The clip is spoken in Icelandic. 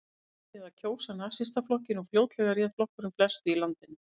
Fólkið byrjaði að kjósa Nasistaflokkinn og fljótlega réð flokkurinn flestu í landinu.